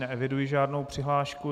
Neeviduji žádnou přihlášku.